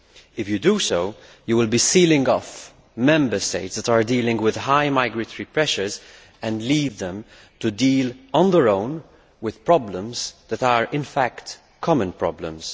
If you do so, you will be sealing off Member States that are dealing with high migratory pressure and leaving them to deal on their own with problems that are in fact common problems.